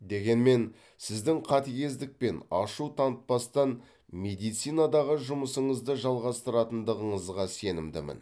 дегенмен сіздің қатігездік пен ашу танытпастан медицинадағы жұмысыңызды жалғастыратындығыңызға сенімдімін